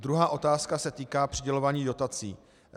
Druhá otázka se týká přidělování dotací.